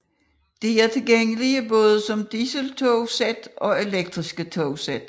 De er tilgængelige både som diseltogsæt og elektriske togsæt